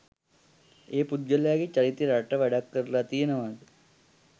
ඒ පුද්ගලයාගේ චරිතය රටට වැඩක් කරලා තියෙනවා ද?